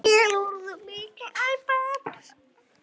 Við eigum góða stráka.